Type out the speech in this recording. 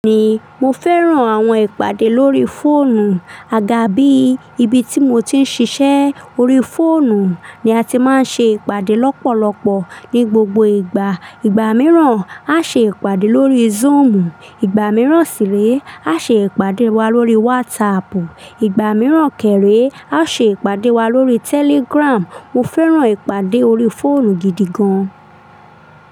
Bẹ́ẹ̀ni, mo fẹ́ràn àwọn ìpàdé lórí fóònù. Àgàgà bí, ibi tí mo ti ń ṣiṣẹ́, orí fóònù ni a ti máa ń ṣe ìpàdé lọ́pọ̀lọpọ̀ ní gbogbo ìgbà. Ìgbà mìíràn á ṣe ìpàdé lórí Zoom, ìgbà mìíràn sì lé á ṣe ìpàdé wa lórí WhatsApp, ìgbà mìíràn kẹ̀ré á ṣe ìpàdé wa lórí Telegram. Mo fẹ́ràn ìpàdé orí fóònù gidi gan.